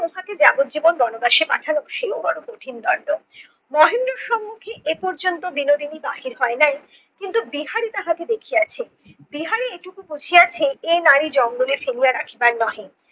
ওটাকে যাবজ্জীবন বনবাসে পাঠানো সেও বড়ো কঠিন দণ্ড। মহেন্দ্রর সম্মুখে এখন পর্যন্ত বিনোদিনী বাহির হয় নাই কিন্তু বিহারি তাহাকে দেখিয়েছে। বিহারি এইটুকু বুঝিয়েছে এই নারী জঙ্গলে ফেলিয়া রাখিবার নহে।